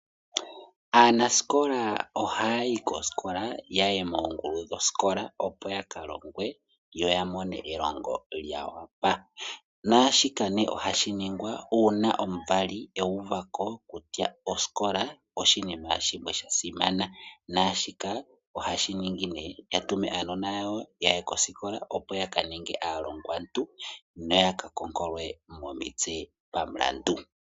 Anasikola ohayi koskola yaye mongulu dhosikola opo yakalongwe yo yamone elongo lyawapa, nashika ne ohashiningwa una omuvali uvako kutya osikola oshinima shimwe shasimana nashika ohashiningi ne yatume aanona yawo yaye koskola opo yakaninge aalongwatu noya kakokolwe momitse pamulandu.